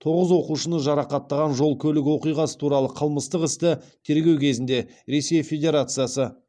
тоғыз оқушыны жарақаттаған жол көлік оқиғасы туралы қылмыстық істі тергеу кезінде ресей федерациясы